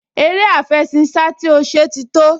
Eré àfẹṣinsá tí ó ṣe ti tó